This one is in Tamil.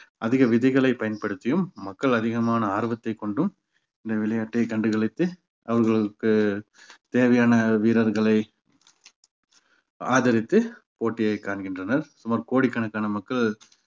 அதிக விதிகளை பயன்படுத்தியும் மக்கள் அதிகமான ஆர்வத்தைக் கொண்டும் இந்த விளையாட்டை கண்டுகளித்து அவர்களுக்கு தேவையான வீரர்களை ஆதரித்து போட்டியை காண்கின்றனர் சுமார் கோடிக்கணக்கான மக்கள்